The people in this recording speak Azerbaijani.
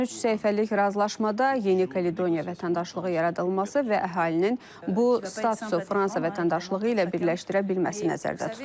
13 səhifəlik razılaşmada Yeni Kaledoniya vətəndaşlığı yaradılması və əhalinin bu statusu Fransa vətəndaşlığı ilə birləşdirə bilməsi nəzərdə tutulur.